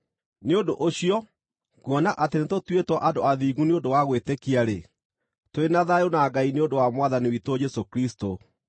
Nĩ ũndũ ũcio, kuona atĩ nĩtũtuĩtwo andũ athingu nĩ ũndũ wa gwĩtĩkia-rĩ, tũrĩ na thayũ na Ngai nĩ ũndũ wa Mwathani witũ Jesũ Kristũ,